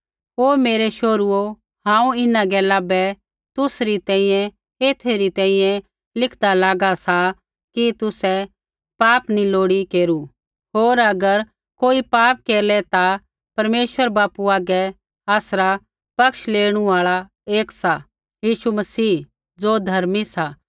हे मेरै शोहरुओ हांऊँ इन्हां गैला बै तुसरी तैंईंयैं एथै री तैंईंयैं लिखदा लागा सा कि तुसै पाप नी लोड़ी केरू होर अगर कोई पाप केरलै ता परमेश्वर बापू हागै आसरा पक्ष लेणु आल़ा एक सा यीशु मसीह ज़ो धर्मी सा